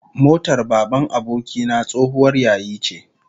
My friend's father's car was an old model